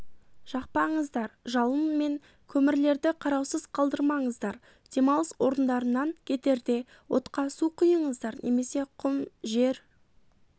жақпаңыздар жалын мен көмірлерді қараусыз қалдырмаңыздар демалыс орындарынан кетерде отқа су құйыңыздар немесе құм жер